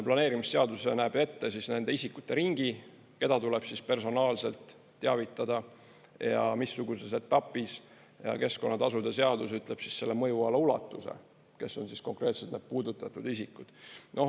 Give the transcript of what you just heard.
Planeerimisseadus näeb ette nende isikute ringi, keda tuleb personaalselt teavitada ja missuguses etapis, keskkonnatasude seadus ütleb siis selle mõjuala ulatuse, kes on siis konkreetselt need puudutatud isikud.